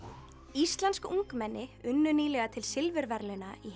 íslensk ungmenni unnu nýlega til silfurverðlauna í